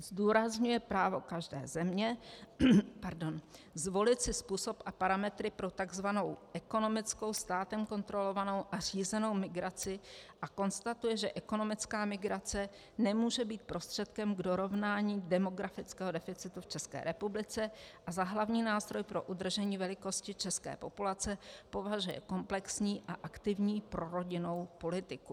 Zdůrazňuje právo každé země zvolit si způsob a parametry pro tzv. ekonomickou, státem kontrolovanou a řízenou migraci a konstatuje, že ekonomická migrace nemůže být prostředkem k dorovnání demografického deficitu v České republice, a za hlavní nástroj pro udržení velikosti české populace považuje komplexní a aktivní prorodinnou politiku.